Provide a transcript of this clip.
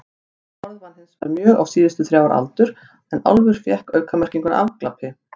Þetta orð vann hinsvegar mjög á síðustu þrjár aldur en álfur fékk aukamerkinguna afglapi.